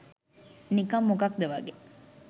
නිකං මොකද්ද වගේ.